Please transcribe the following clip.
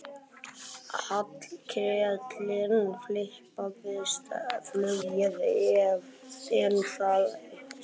Hallkeli fipaðist flugið en sagði svo